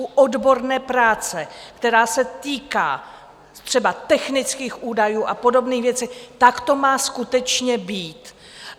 U odborné práce, která se týká třeba technických údajů a podobných věcí, tak to má skutečně být.